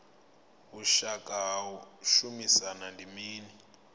vhushaka ha u shumisana ndi mini